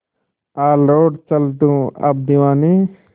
आ लौट चल तू अब दीवाने